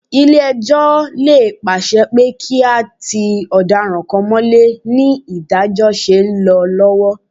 Ilé-ẹjọ́ lè pàsẹ pé kí a ti ọ̀daràn kan mọ́lé ní ìdájọ́ ṣe ń lọ lọ́wọ́